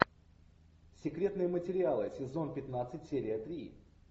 секретные материалы сезон пятнадцать серия три